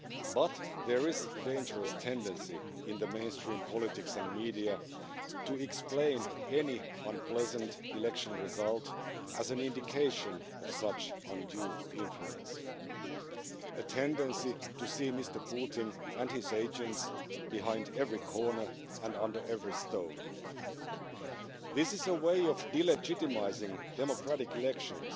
But there is a dangerous tendency in the mainstream politics and media to explain any unpleasant election result as an indication of such undue influence, a tendency to see Mr Putin and his agents behind every corner and under every stone. This is a way of de legitimising democratic elections